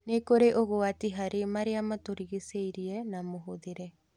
Nĩ kũrĩ ũgwati harĩ maria matũrigicĩirie na mũhũthĩri